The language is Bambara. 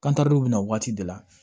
Kantandu bɛ na waati de la